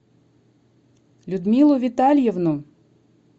людмилу витальевну